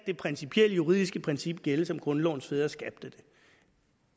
det principielle juridiske princip skal gælde som grundlovens fædre skabte